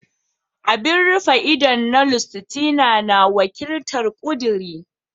Abun rufe ido na Lustitia na wakiltar "Kuduri."